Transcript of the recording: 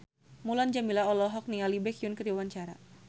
Mulan Jameela olohok ningali Baekhyun keur diwawancara